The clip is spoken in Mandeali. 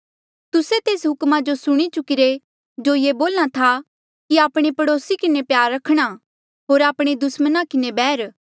तुस्से तेस हुक्मा जो सुणी चुकिरे जो ये बोल्हा था कि आपणे पड़ोसी किन्हें प्यार रखणा होर आपणे दुस्मणा किन्हें बैर